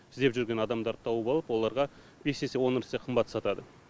іздеп жүрген адамдарды тауып алып оларға бес есе он есе қымбат сатады